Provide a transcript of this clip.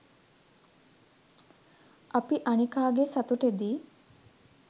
අපි අනිකාගේ සතුටෙදි